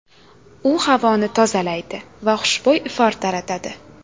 U havoni tozalaydi va xushbo‘y ifor taratadi.